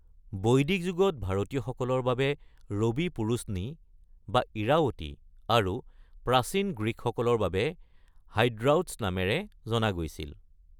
বৈদিক যুগত ভাৰতীয়সকলৰ বাবে ৰৱি পুৰুশ্নি বা ইৰাৱতী আৰু প্ৰাচীন গ্ৰীকসকলৰ বাবে হাইড্ৰাওট্ছ নামেৰে জনা গৈছিল।